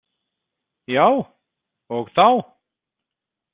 Já, og þá!